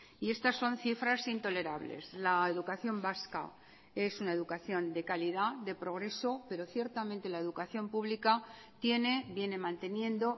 y estas son cifras intolerables la educación vasca es una educación de calidad de progreso pero ciertamente la educación pública tiene viene manteniendo